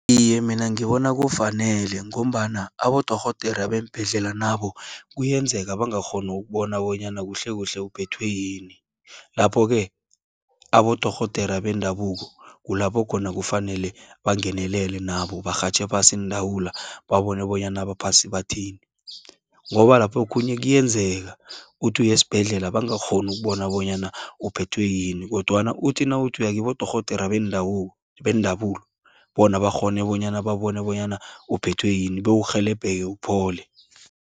Iye mina ngibona kufanele, ngombana abodorhodera beembhedlela nabo, kuyenzeka bangakghoni ukubona bonyana kuhlekuhle uphethwe yini. Lapho-ke abodorhodera bendabuko, kulapho khona kufanele bangenelele nabo, barhatjhe phasi iindawula, babone bonyana abaphasi bathini, ngoba laphokhunye kuyenzeka, uthi uyesbhedlela bangakghoni bona bonyana uphethwe yini, kodwana uthi nawuthi uyakibodorhodere bendabuko, bona bakghone bonyana babone bonyana uphethwe yini, bewurhelebheke uphole.